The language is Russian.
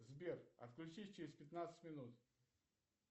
сбер отключись через пятнадцать минут